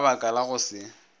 ka baka la go se